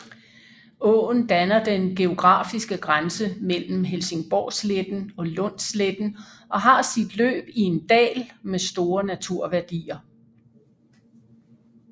Åen danner den geografiske grænse mellem Helsingborgsletten og Lundsletten og har sit løb i en dal med store naturværdier